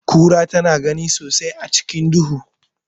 Kira tana gani sosai a cikin duhu.